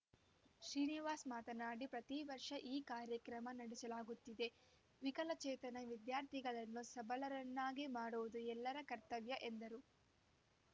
ಶ್ರೀನಿವಾಸ್‌ ಮಾತನಾಡಿ ಪ್ರತಿವರ್ಷ ಈ ಕಾರ್ಯಕ್ರಮ ನಡೆಸಲಾಗುತ್ತಿದೆ ವಿಕಲಚೇತನ ವಿದ್ಯಾರ್ಥಿಗಳನ್ನು ಸಬಲರನ್ನಾಗಿ ಮಾಡುವುದು ಎಲ್ಲರ ಕರ್ತವ್ಯ ಎಂದರು